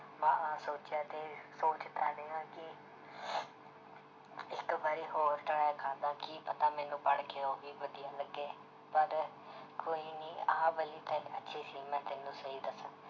ਮੈਂ ਸੋਚਿਆ ਤੇ ਸੋਚਦਾ ਰਿਹਾ ਕਿ ਇੱਕ ਵਾਰੀ ਹੋਰ try ਕਰਦਾਂ ਕੀ ਪਤਾ ਮੈਨੂੰ ਪੜ੍ਹਕੇ ਉਹ ਵੀ ਵਧੀਆ ਲੱਗੇ ਪਰ ਕੋਈ ਨੀ ਆਹ ਵਾਲੀ ਤਾਂ ਅੱਛੀ ਸੀ ਮੈਂ ਤੈਨੂੰ ਸਹੀ ਦੱਸਾਂ